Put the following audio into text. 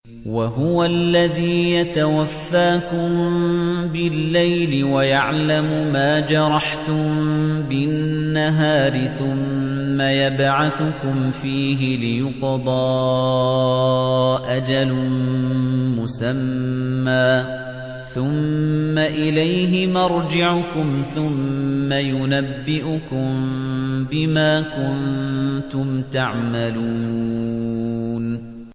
وَهُوَ الَّذِي يَتَوَفَّاكُم بِاللَّيْلِ وَيَعْلَمُ مَا جَرَحْتُم بِالنَّهَارِ ثُمَّ يَبْعَثُكُمْ فِيهِ لِيُقْضَىٰ أَجَلٌ مُّسَمًّى ۖ ثُمَّ إِلَيْهِ مَرْجِعُكُمْ ثُمَّ يُنَبِّئُكُم بِمَا كُنتُمْ تَعْمَلُونَ